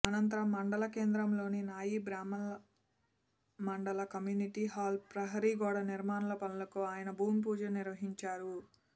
ఆనంతరం మండల కేంద్రంలోని నాయి బ్రహ్మణ మండల కమ్యూనీటి హల్ ప్రహరీ గోడ నిర్మాణపనులకు ఆయన భూమిపూజ నిర్వహించారు